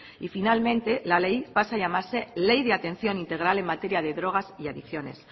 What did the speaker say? y finalmente la ley pase a llamarse ley de atención integral en materia de drogas y adicciones